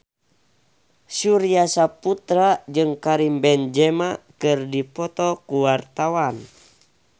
Surya Saputra jeung Karim Benzema keur dipoto ku wartawan